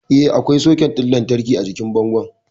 Eh, akwai soket ɗin lantarki a jikin bangon